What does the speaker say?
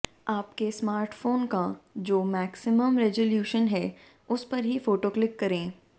आपके समार्टफोन का जो मैक्सिमम रेजोल्यूशन है उस पर ही फोटो क्लिक करें